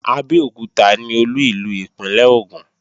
Abẹ́òkúta ni Olú ìlú ìpínlè Ògùn